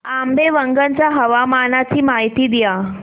आंबेवंगन च्या हवामानाची माहिती द्या